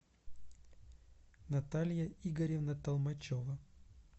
наталья игоревна толмачева